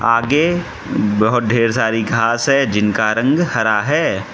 आगे बहुत ढेर सारी घास है जिनका रंग हरा है।